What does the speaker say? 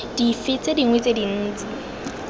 dife tse dingwe tse dintsi